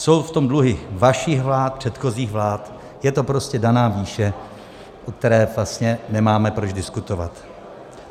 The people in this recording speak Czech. Jsou v tom dluhy vašich vlád, předchozích vlád, je to prostě daná výše, o které vlastně nemáme proč diskutovat.